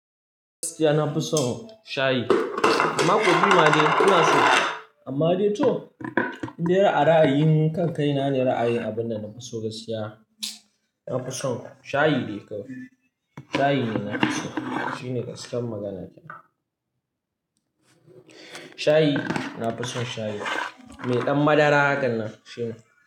Gaskiya nafi son shayi. Amma kofi ma dai ina so, amma dai to idan ya ra'ayi mun kan kai na ne ra'ayin abunda nafi so gaskiya. Nafi son shayi dai kawai. Shayi ne nafi so. Shi ne gaskiyar magana ta. Shayi, nafi son shayi. Mai ɗan madara hakan nan shi ne.